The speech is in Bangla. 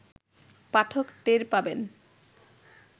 পাঠক টের পাবেন